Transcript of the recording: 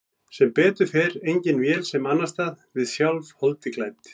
Sem betur fer engin vél sem annast það, við sjálf, holdi klædd.